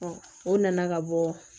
o nana ka bɔ